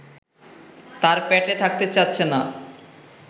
তার পেটে থাকতে চাচ্ছে না